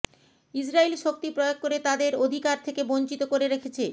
ইসরাইল শক্তি প্রয়োগ করে তাদের অধিকার থেকে বঞ্চিত করে রেখেছে